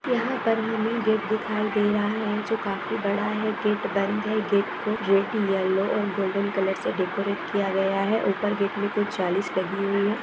यहां पर हमे गेट दिखाई दे रहा है जो काफी बड़ा है। गेट बंद है गेट को रेड येल्लो और गोल्डन कलर से डेकोरेट किया गया है। ऊपर गेट में कुछ जाली सी लगी हुई है।